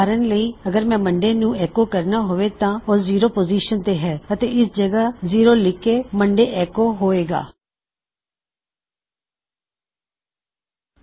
ਉਦਾਹਰਨ ਲਈ ਅਗਰ ਮੈਂ ਸੋਮਵਾਰ ਨੂੰ ਐੱਕੋ ਕਰਨਾ ਹੈ ਉਹ ਹੋਇਗਾ ਜ਼ੀਰੋਫੇਰ ਤੁਸੀਂ ਜ਼ਿਰੋ ਪਾੳ ਉਸ ਵਿੱਚ ਅਤੇ ਤੁਸੀਂ ਸੋਮਵਾਰ ਨੂੰ ਐੱਕੋ ਕਰ ਦਿੱਤਾ ਹੈ